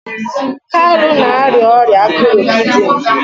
kalu na-arịa ọrịa akụrụ kidini